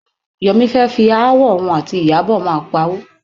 Yọ̀mí fẹ́ fi aáwọ̀ òun àti Ìyábọ̀ máa pawó.